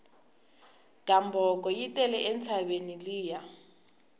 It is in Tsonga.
gamboko yi tele entshaveni liya